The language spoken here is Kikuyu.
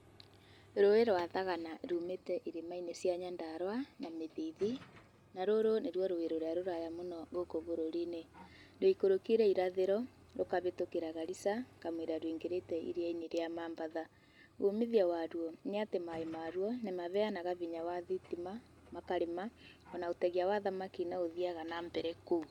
Rũĩ rwa thagana rumĩte irĩma-inĩ cia Nyandarũa na mũthithi na rũrũ nĩ ruo rũĩ rũrĩa rũraya mũno gũkũ bũrũri-inĩ. Rũikũrũkĩire irathĩro rũkabĩtũkĩra Garissa kamũira rũingĩrĩte iria-inĩ rĩa Mombasa. Umithio wa ruo nĩ atĩ maaĩ maruo mabeanaga binya wa thitima makarĩma ona ũtegia wa thamaki no ũthiaga na mbere kũu.